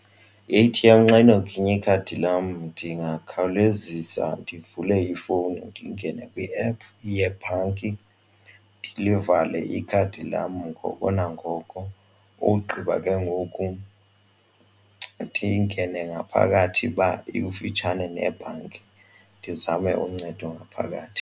I-A-T_M xa inoginya ikhadi lam ndingakhawulezisa ndivule ifowuni ndingene kwiephu yebhanki ndilivale ikhadi lam ngoko nangoko. Ogqiba ke ngoku ndingene ngaphakathi uba ikufitshane nebhanki ndizame uncedo ngaphakathi.